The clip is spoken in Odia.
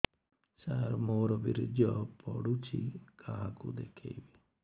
ସାର ମୋର ବୀର୍ଯ୍ୟ ପଢ଼ୁଛି କାହାକୁ ଦେଖେଇବି